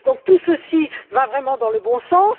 Donc tout ceci va vraiment dans le bon sens.